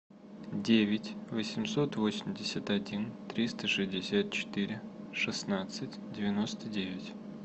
девять восемьсот восемьдесят один триста шестьдесят четыре шестнадцать девяносто девять